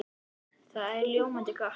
Það er ljómandi gott!